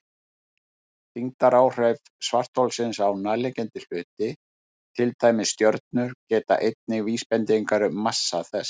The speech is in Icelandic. Þyngdaráhrif svartholsins á nærliggjandi hluti, til dæmis stjörnur, gefa einnig vísbendingar um massa þess.